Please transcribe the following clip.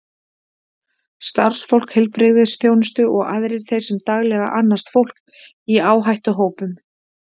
starfsfólk heilbrigðisþjónustu og aðrir þeir sem daglega annast fólk í áhættuhópum